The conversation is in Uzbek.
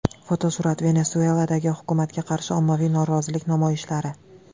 Fotosurat: Venesueladagi hukumatga qarshi ommaviy norozilik namoyishlari.